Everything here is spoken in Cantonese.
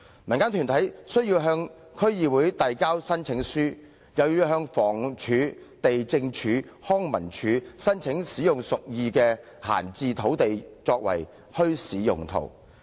民間團體須向區議會遞交申請書，又要向房屋署、地政總署、康文署等申請使用屬意的閒置土地作墟市用途。